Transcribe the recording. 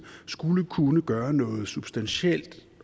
skulle kunne gøre noget substantielt